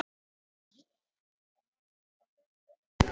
Einhvernveginn langaði mann alltaf til að pota í þær.